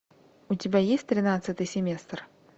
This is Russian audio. у тебя есть тринадцатый семестр